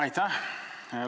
Aitäh!